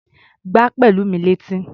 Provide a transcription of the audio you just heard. Gbá Pẹ̀lúmi létí!